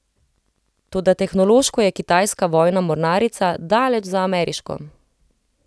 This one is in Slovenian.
Toda tehnološko je kitajska vojna mornarica daleč za ameriško.